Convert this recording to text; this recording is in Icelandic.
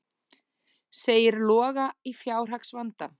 Segir Loga í fjárhagsvanda